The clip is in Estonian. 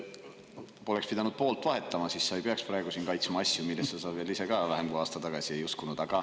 Poleks pidanud poolt vahetama, siis sa ei peaks praegu siin kaitsma asju, millesse sa ise ka vähem kui aasta tagasi ei uskunud.